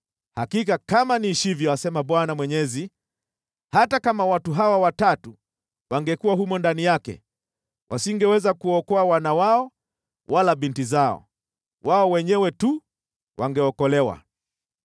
hakika kama niishivyo, asema Bwana Mwenyezi, hata kama watu hawa watatu wangekuwa humo ndani yake, wasingeweza kuokoa wana wao wala binti zao. Wao wenyewe tu wangeokolewa.